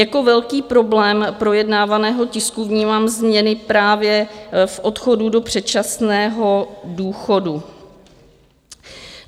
Jako velký problém projednávaného tisku vnímám změny právě v odchodu do předčasného důchodu.